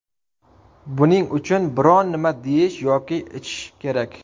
Buning uchun biron-nima yeyish yoki ichish kerak.